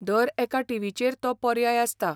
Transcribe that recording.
दर एका टी. व्ही.चेर तो पर्याय आसता.